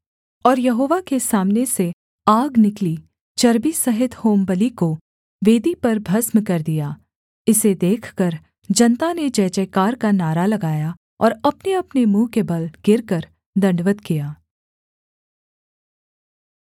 और यहोवा के सामने से आग निकली चर्बी सहित होमबलि को वेदी पर भस्म कर दिया इसे देखकर जनता ने जय जयकार का नारा लगाया और अपनेअपने मुँह के बल गिरकर दण्डवत् किया